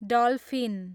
dolphin